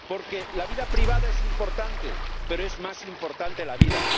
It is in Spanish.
porque la vida privada es importante, pero es más importante la vida.